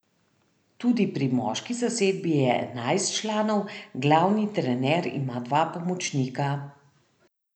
Tudi pri moški zasedbi je enajst članov, glavni trener ima dva pomočnika.